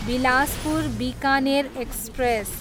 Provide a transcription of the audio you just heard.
Bilaspur, Bikaner express